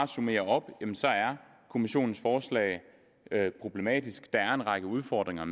summere op kommissionens forslag er problematisk og der er en række udfordringer